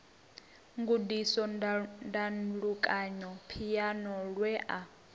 gudisa ndalukanyo phiano lwe a